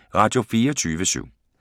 Radio24syv